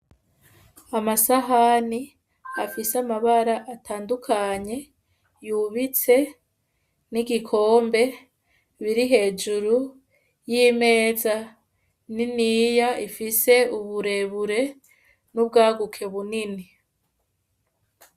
Amasahani afise amabara atandukanye, yubitse n'igikombe biri hejuru y'imeza niniya ifise uburebure n'ubwaguke bunini.